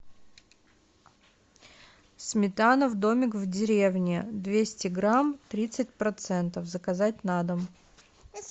сметана домик в деревне двести грамм тридцать процентов заказать на дом